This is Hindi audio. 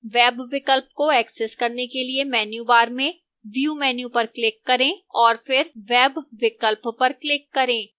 web विकल्प को access करने के लिए menu bar में view menu पर click करें और फिर web विकल्प पर click करें